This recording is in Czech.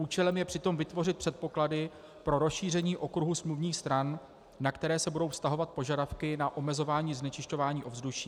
Účelem je přitom vytvořit předpoklady pro rozšíření okruhu smluvních stran, na které se budou vztahovat požadavky na omezování znečišťování ovzduší.